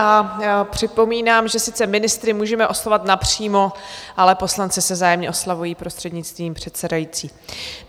A připomínám, že sice ministry můžeme oslovovat napřímo, ale poslanci se vzájemně oslovují prostřednictvím předsedající.